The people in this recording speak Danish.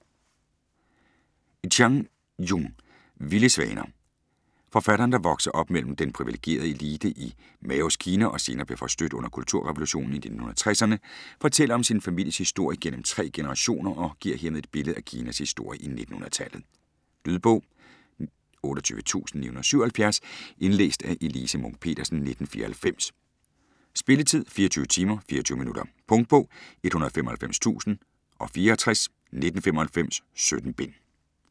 Chang, Jung: Vilde svaner Forfatteren, der voksede op som medlem af den privilegerede elite i Maos Kina og senere blev forstødt under kulturrevolutionen i 1960'erne, fortæller sin families historie gennem tre generationer og giver hermed et billede af Kinas historie i 1900-tallet. Lydbog 28977 Indlæst af Elise Munch-Petersen, 1994. Spilletid: 24 timer, 24 minutter. Punktbog 195064 1995. 17 bind.